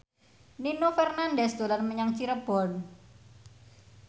Nino Fernandez dolan menyang Cirebon